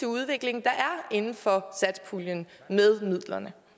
udvikling der er inden for satspuljen med midlerne